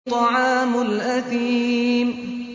طَعَامُ الْأَثِيمِ